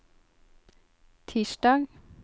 tirsdag